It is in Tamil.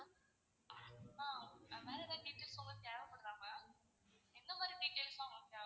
ஆஹ் வேற ஏதாவது details உங்களுக்கு தேவபடுதா ma'am எந்தமாறி details லாம் உங்களுக்கு தேவ?